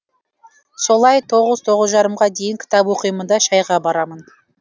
солай оғыз тоғыз жарымға дейін кітап оқимын да шәйға барамын